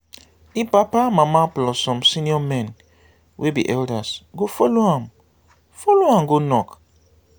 di papa mama plus some senior men wey be elders go follow am follow am go knock